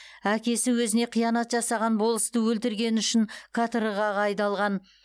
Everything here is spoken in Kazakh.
әкесі өзіне қиянат жасаған болысты өлтіргені үшін каторгаға айдалған